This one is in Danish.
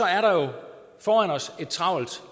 er der et travlt